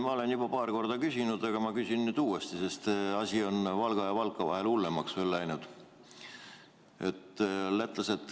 Ma olen juba paar korda küsinud, aga küsin nüüd uuesti, sest asi on Valga ja Valka vahel hullemaks läinud.